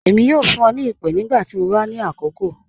Ẹmi yọ fun ọ ni ipe nigbati mọ ba ni akọọkan.